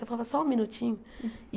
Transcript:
Eu falava, só um minutinho.